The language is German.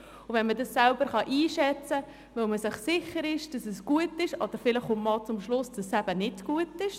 Vielleicht kann man die Folgen selber einschätzen, weil man sich sicher ist, dass es gut ist, oder man kommt zum Schluss, dass es nicht gut ist.